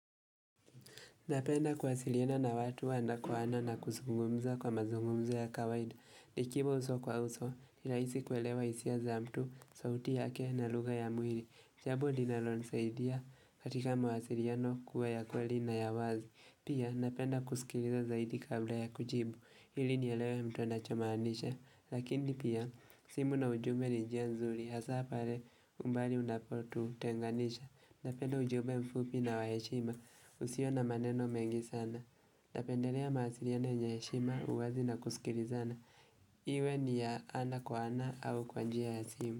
Napenda kuasiliina na watu wanakwaana na kuzungumza kwa mazungumzo ya kawaida. Ikiwa uso kwa uso, ni rahisi kuelewa hisia za mtu, sauti yake na lugha ya mwili. Jambo linalonisaidia, katika mawasiliano kuwa ya kweli na ya wazi. Pia, napenda kusikiliza zaidi kabla ya kujibu, hili nielewe mtu anachomaanisha. Lakini pia, simu na ujumbe ni njia nzuri, hasa pale umbali unapotutenganisha. Napenda ujumbe mfupi na wa heshima usio na maneno mengi sana. Napendelea mawasiliano yenye heshima uwazi na kusikilizana. Iwe ni ya ana kwa ana au kwa njia ya simu.